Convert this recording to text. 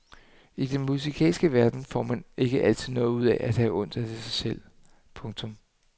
I den musikalske verden får man heller ikke noget ud af at have ondt af sig selv. punktum